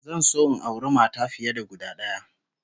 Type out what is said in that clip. Zan so in auri mata fiye da guda d'aya